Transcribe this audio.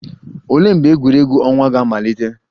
Olee mgbe egwuregwu ọnwa ga-amalite?